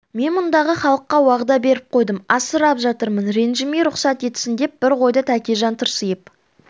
мен мұндағы халыққа уағда беріп қойдым асырап жатырмын ренжімей рұқсат етсін деп бір қойды тәкежан тырсиып